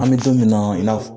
An mi don min na, i na fɔ